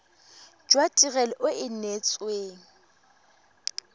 jwa tirelo e e neetsweng